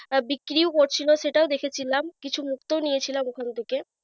আহ বিক্রি ও করছিল সেটাও দেখেছিলাম কিছু মুক্ত নিয়ে ছিলাম ওখান থেকে।